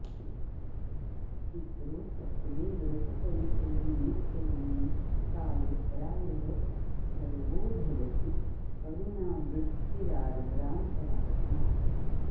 पित्रो सत्त्वे व्रतपरिचयो नेत्ययं निश्चिकाय प्रायः सर्वो भवति करुणावृत्तिरार्द्रान्तरात्मा